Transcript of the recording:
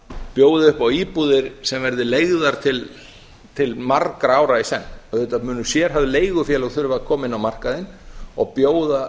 bjóði upp á íbúðir sem verði leigðar til margra ára í senn auðvitað munu sérhæfð leigufélög þurfa að koma inn á markaðinn og bjóða